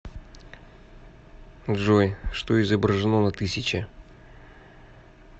джой что изображено на тысяче